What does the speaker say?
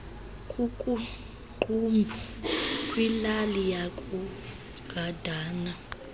kukuqumbu kwilali yakugandana